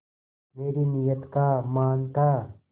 मेरी नीयत का मान था